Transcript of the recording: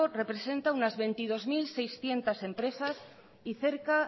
representa unas veintidós mil seiscientos empresas y cerca